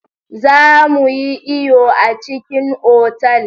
Za mu yi iyo a cikin otal.